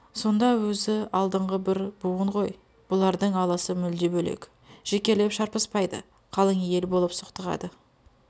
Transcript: соңда өзі алдыңғы бір буын ғой бұлардың алысы мүлде бөлек жекелеп шарпыспайды қалың ел болып соқтығады